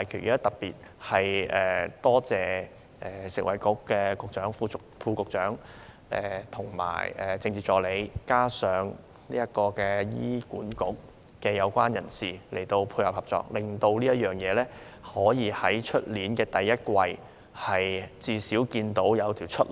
我要特別感謝食物及衞生局局長、副局長及政治助理，以及醫院管理局有關人士的配合及合作，令事情可以在明年第一季，最少看到一條出路。